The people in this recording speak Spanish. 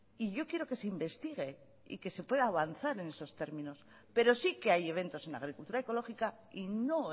y yo quiero que se investigue y que se pueda avanzar en esos términos pero sí que hay eventos en agricultura ecológica y no